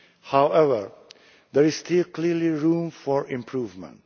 However, there is still clearly room for improvement.